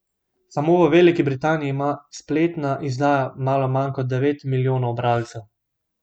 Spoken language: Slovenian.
Samo v Veliki Britaniji ima spletna izdaja malo manj kot devet milijonov bralcev.